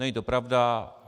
Není to pravda.